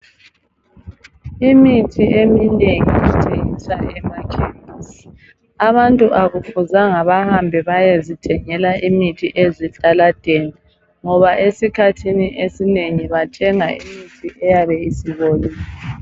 Imithi eminengi ithengiswa emakhemisi .Abantu akufuzanga bahambe bayezithengela imithi ezitaladeni ngoba esikhathini esinengi bathenga imithi eyabe isibolile.